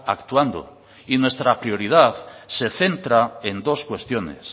actuando y nuestra prioridad se centra en dos cuestiones